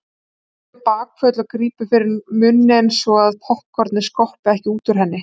Hún tekur bakföll og grípur fyrir munninn svo að poppkornið skoppi ekki út úr henni.